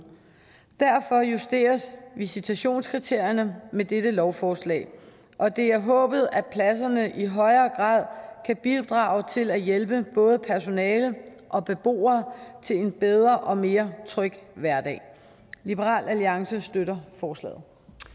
derfor justeres visitationskriterierne med dette lovforslag og det er håbet at pladserne i højere grad kan bidrage til at hjælpe både personale og beboere til en bedre og mere tryg hverdag liberal alliance støtter forslaget